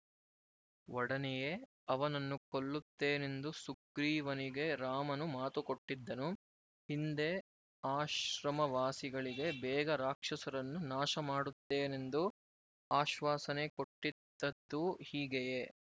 ಒಡನೆಯೇ ಅವನನ್ನು ಕೊಲ್ಲುತ್ತೇನೆಂದು ಸುಗ್ರೀವನಿಗೆ ರಾಮನು ಮಾತುಕೊಟ್ಟಿದ್ದನು ಹಿಂದೆ ಆಶ್ರಮವಾಸಿಗಳಿಗೆ ಬೇಗ ರಾಕ್ಷಸರನ್ನು ನಾಶ ಮಾಡುತ್ತೇನೆಂದು ಆಶ್ವಾಸನೆ ಕೊಟ್ಟಿದ್ದದ್ದೂ ಹೀಗೆಯೇ